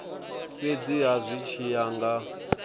fhedziha zwi tshi ya nga